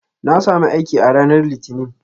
Na sami aiki a ranar Litinin.